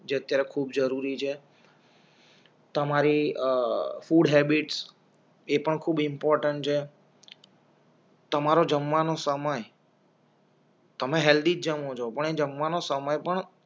જ અત્યારે ખૂબ જરૂરી છે તમારી અ ફૂડ હૅબિટસ એ પણ ખુબ ઇમ્પોર્ટેંટ છે તમારું જમવાનુંસમય તમે હેલ્દી જ જમો છો પણ એ જમવા સમય પણ